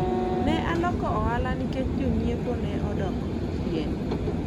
ne aloko ohala nikech jonyiepo ne odok chien